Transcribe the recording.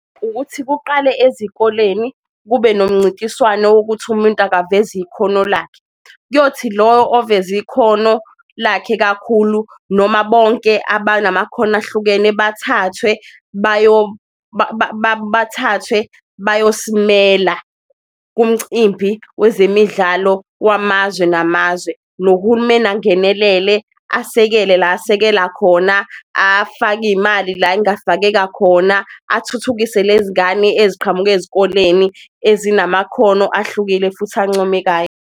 Ukuthi kuqale ezikoleni kube nomncintiswano wokuthi umuntu akayiveze ikhono lakhe, kuyothi loyo oveze ikhono lakhe kakhulu noma bonke abanamakhono ahlukene bathathwe bayosimela kumcimbi wezemidlalo wamazwe namazwe. Nohulumeni angenelele asekele la asekela khona afake iyimali la engafakeka khona, athuthukise lezi ngane eziqhamuka ezikoleni ezinamakhono ahlukile futhi ancomekayo.